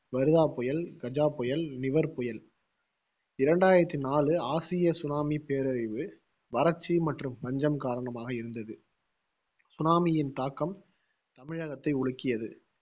வர்தா புயல், கஜா புயல், நிவர் புயல் இரண்டாயிரத்தி நாலு ஆசிய tsunami பேரழிவு, வறட்சி மற்றும் பஞ்சம் காரணமாக இருந்தது, tsunami யின் தாக்கம் தமிழகத்தை உலுக்கியது